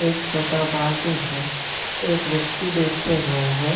एक छोटा बाल्टिन है एक व्यक्ति बैठे हुआ है।